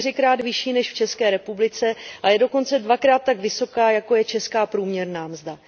čtyřikrát vyšší než v České republice a je dokonce dvakrát tak vysoká, jako je česká průměrná mzda.